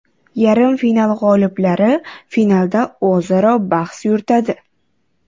Yarim final g‘oliblari finalda o‘zaro bahs yuritadi.